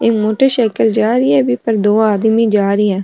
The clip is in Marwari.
एक मोटर साइकल पर जा रही है बि पे दो आदमी जा रिया है।